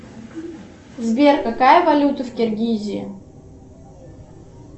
сбер какая валюта в киргизии